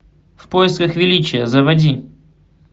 в поисках величия заводи